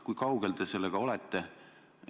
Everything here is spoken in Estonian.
Kui kaugel te sellega olete?